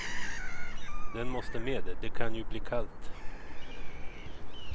Den måste med, det kan ju bli kallt.